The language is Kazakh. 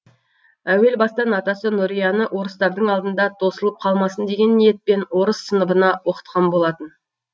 әуел бастан атасы нұрияны орыстардың алдында тосылып қалмасын деген ниетпен орыс сыныбына оқытқан болатын